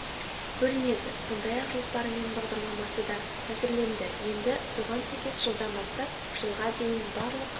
бөлінеді сондай-ақ жоспары мен бағдарламасы да әзірленді енді соған сәйкес жылдан бастап жылға дейін барлық